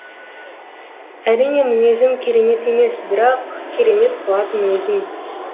әрине мінезім керемет емес бірақ керемет қылатын өзің